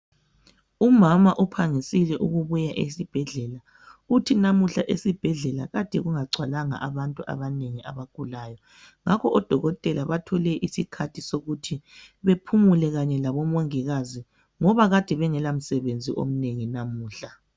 Umama uphangisile ukubuya esibhedlela uthi namuhla esibhedlela kade kungagcwalanga abantu abanengi abagulayo. Ngakho odokotela bathole isikhathi sokuthi bephumile kanye labomongikazi ngoba kade bengela msebenzi omnengi namuhla.